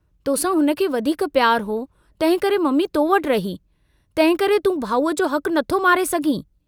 तोसां हुनखे वधीक पियारु हो, तंहिंकरे मम्मी तो वटि रही, तंहिंकरे तूं भाऊअ जो हकु नथो मारे सघीं।